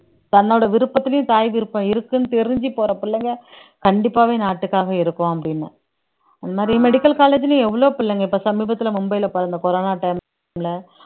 தன்னோட விருப்பத்துலயும் தாய் விருப்பம் இருக்குன்னு தெரிஞ்சு போற பிள்ளைங்க கண்டிப்பாவே நாட்டுக்காக இருக்கும் அப்படின்னும் அந்த மாதிரி medical college ல எவ்வளவோ பிள்ளைங்க இப்ப சமீபத்துல மும்பைல பிறந்த corona time ல